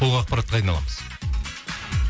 толық ақпаратты қайдан аламыз